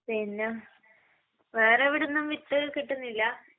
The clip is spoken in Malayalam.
പിന്ന...വേറെവിടുന്നും വിത്ത് കിട്ടുന്നില്ല?